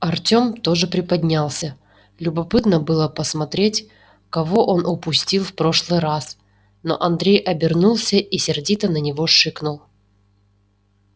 артём тоже приподнялся любопытно было посмотреть кого он упустил в прошлый раз но андрей обернулся и сердито на него шикнул